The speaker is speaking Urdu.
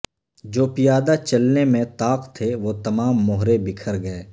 جوپیادہ چلنے میں طاق تھے وہ تمام مہرے بکھر گئے